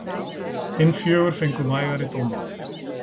Hin fjögur fengu vægari dóma.